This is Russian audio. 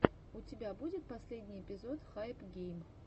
у тебя будет последний эпизод хайпгейм